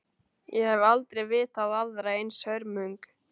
Ég hef aldrei vitað aðra eins hörmung!